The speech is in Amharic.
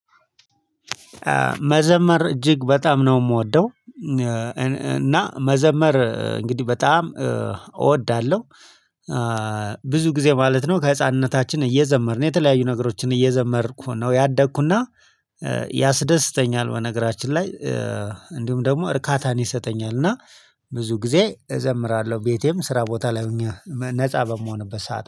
መዘመር እጅግ በጣም ነው የምወደው እና መዘመር እንግዲህ በጣም እወዳለሁ። ብዙ ጊዜ ማለት ነው ከህፃንነታችን እየዘመርን የተለያዩ ነገሮችን እየዘመርኩ ነው ያደግኩና ያስደስተኛል። በነገራችን ላይ እንዲሁም ደግሞ እርካታን ይሰጠኛል። እና ብዙ ጊዜ እዘምራለሁ ቤቴም ስራ ቦታ ላይ ሆኜ ነፃ በምሆንበት ሰዓት